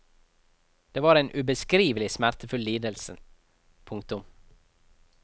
Det var en ubeskrivelig smertefull lidelse. punktum